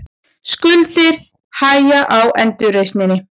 Skuldir hægja á endurreisninni